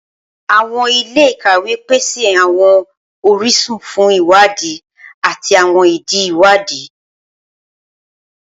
Awọn ile-ikawe pese awọn orisun fun iwadi ati awọn idi iwadi.